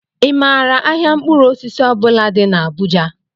ị maara ahịa mkpụrụ osisi ọ bula dị n'Abuja?